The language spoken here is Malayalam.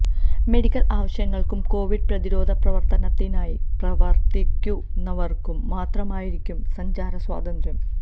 മെഡിക്കൽ ആവശ്യങ്ങൾക്കും കൊവിഡ് പ്രതിരോധ പ്രവർത്തനത്തിനായി പ്രവർത്തിക്കുന്നവർക്കും മാത്രമായിരിക്കും സഞ്ചാര സ്വാതന്ത്രം